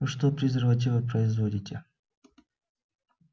вы что презервативы производите